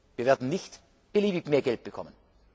Wir werden nicht beliebig mehr Geld bekommen.